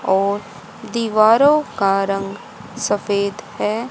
और दीवारों का रंग सफेद है।